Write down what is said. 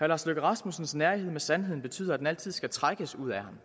lars løkke rasmussens nærighed med sandheden betyder at den altid skal trækkes ud af ham